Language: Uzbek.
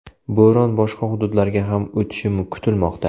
Bo‘ron boshqa hududlarga ham o‘tishi kutilmoqda.